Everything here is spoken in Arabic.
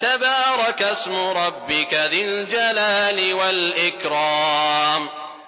تَبَارَكَ اسْمُ رَبِّكَ ذِي الْجَلَالِ وَالْإِكْرَامِ